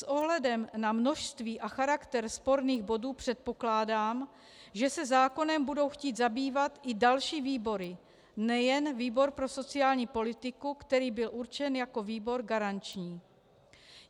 S ohledem na množství a charakter sporných bodů předpokládám, že se zákonem budou chtít zabývat i další výbory, nejen výbor pro sociální politiku, který byl určen jako výbor garanční.